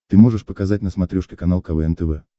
ты можешь показать на смотрешке канал квн тв